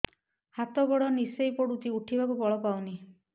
ହାତ ଗୋଡ ନିସେଇ ପଡୁଛି ଉଠିବାକୁ ବଳ ପାଉନି